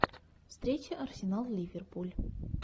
встреча арсенал ливерпуль